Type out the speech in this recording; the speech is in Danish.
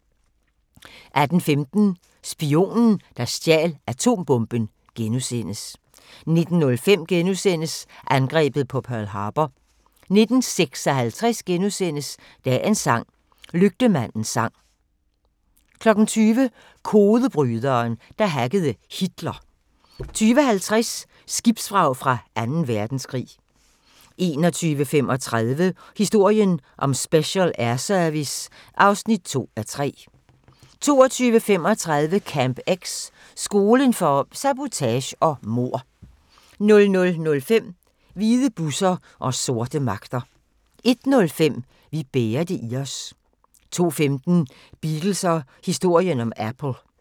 18:15: Spionen, der stjal atombomben * 19:05: Angrebet på Pearl Harbor * 19:56: Dagens sang: Lygtemandens sang * 20:00: Kodebryderen, der hackede Hitler 20:50: Skibsvrag fra Anden Verdenskrig 21:35: Historien om Special Air Service (2:3) 22:35: Camp X – skolen for sabotage og mord 00:05: Hvide busser og sorte magter 01:05: Vi bærer det i os 02:15: Beatles og historien om Apple